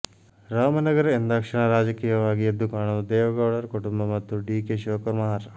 ರಾಮನಗರ ಎಂದಾಕ್ಷಣ ರಾಜಕೀಯವಾಗಿ ಎದ್ದುಕಾಣುವುದು ದೇವೇಗೌಡರ ಕುಟುಂಬ ಮತ್ತು ಡಿಕೆ ಶಿವಕುಮಾರ್